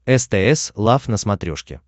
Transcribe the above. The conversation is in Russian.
стс лав на смотрешке